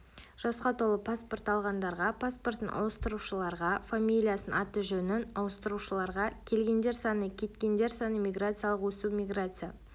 жасқа толып паспорт алғандарға паспортын ауыстырушыларға фамилиясын аты-жөнін ауыстырушыларға келгендер саны кеткендер саны миграциялық өсу миграция